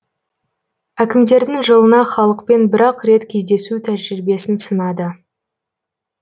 әкімдердің жылына халықпен бір ақ рет кездесу тәжірибесін сынады